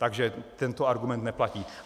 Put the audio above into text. Takže tento argument neplatí.